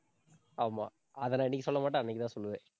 ஆமா. அதை நான் இன்னைக்கு சொல்ல மாட்டேன். அன்னைக்குதான் சொல்லுவேன்